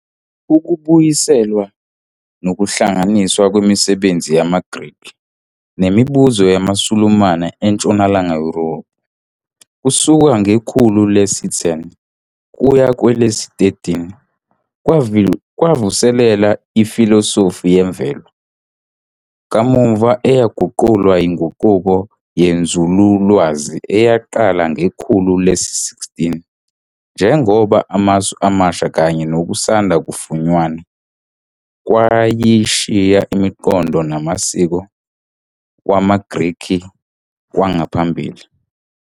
Ukubuyiselwa nokuhlanganiswa kwemisebenzi yamaGrikhi nemibuzo yamaSulumane eNtshonalanga Yurophu kusuka ngekhulu le-10 kuye le-13 kwavuselela "iFilosofi yemvelo", kamuva eyaguqulwa yinguquko yenzululwazi eyaqala ngekhulu le-16 njengoba amasu amasha kanye nokusanda-kufunyanwa kwayishiya imiqondo namasiko wamaGrikhi kwangaphambili.